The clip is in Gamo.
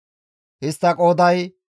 Istta qooday 46,500.